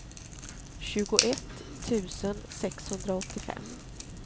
tjugoett tusen sexhundraåttiofem